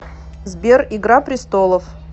сбер игра пристолов